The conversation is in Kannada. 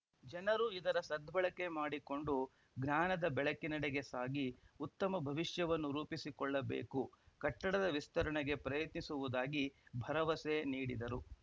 ಜನರು ಇದರ ಸದ್ಬಳಕೆ ಮಾಡಿಕೊಂಡು ಜ್ಞಾನದ ಬೆಳಕಿನಡೆಗೆ ಸಾಗಿ ಉತ್ತಮ ಭವಿಷ್ಯವನ್ನು ರೂಪಿಸಿಕೊಳ್ಳಬೇಕು ಕಟ್ಟಡದ ವಿಸ್ತರಣೆಗೆ ಪ್ರಯತ್ನಿಸುವುದಾಗಿ ಭರವಸೆ ನೀಡಿದರು